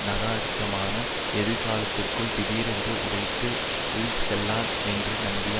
நகாரிகமான எதிர்காலத்திற்குள் திடீரென்று உடைத்து உள் செல்லாம் என்று நம்பிய